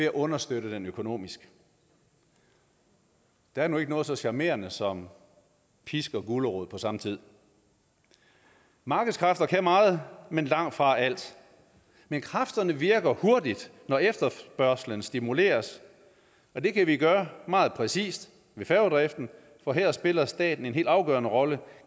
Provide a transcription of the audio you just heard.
at understøtte den økonomisk der er nu ikke noget så charmerende som pisk og gulerod på samme tid markedskræfter kan meget men langtfra alt men kræfterne virker hurtigt når efterspørgslen stimuleres og det kan vi gøre meget præcist ved færgedriften for her spiller staten en helt afgørende rolle